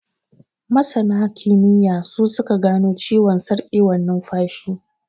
Masana kimiyya, su su ka gano ciwon sarƙewar nunfashi.